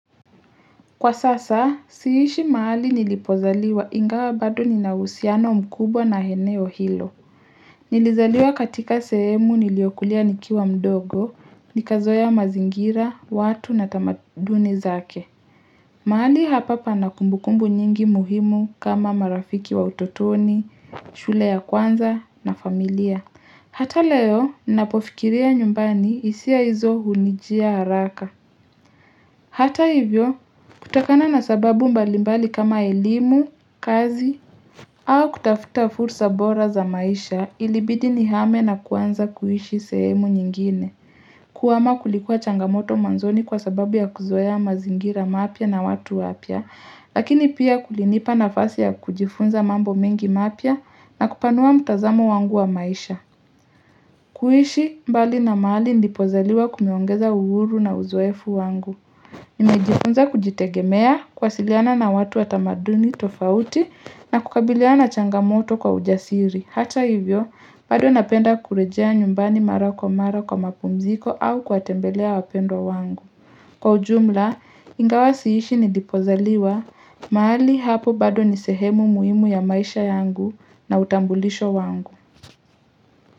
Kwa sasa, siishi mahali nilipozaliwa ingawa bado nina uhusiano mkubwa na eneo hilo. Nilizaliwa katika sehemu niliyokulia nikiwa mdogo, nikazoea mazingira, watu na tamaduni zake. Mahali hapa pana kumbukumbu nyingi muhimu kama marafiki wa utotoni, shule ya kwanza na familia. Hata leo, nnapofikiria nyumbani hisia hizo hunijia haraka. Hata hivyo, kutokana na sababu mbalimbali kama elimu, kazi, au kutafuta fursa bora za maisha ilibidi nihame na kuanza kuishi sehemu nyingine. Kuhama kulikuwa changamoto mwanzoni kwa sababu ya kuzoea mazingira mapya na watu wapya, lakini pia kulinipa nafasi ya kujifunza mambo mengi mapya na kupanua mtazamo wangu wa maisha. Kuishi mbali na mahali nilipozaliwa kunaongeza uhuru na uzoefu wangu. Nimejifunza kujitegemea kuwasiliana na watu wa tamaduni tofauti na kukabiliana changamoto kwa ujasiri. Hata hivyo bado napenda kurejea nyumbani mara kwa mara kwa mapumziko au kuwatembelea wapendwa wangu. Kwa ujumla ingawa siishi nilipozaliwa mahali hapo bado ni sehemu muhimu ya maisha yangu na utambulisho wangu.